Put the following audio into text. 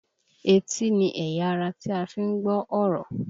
Etí ni ẹ̀yà ara tí a fi ń gbọ́ ọ̀rọ̀